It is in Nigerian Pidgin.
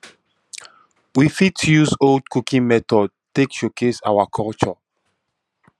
we fit use old cooking method take showcase our culture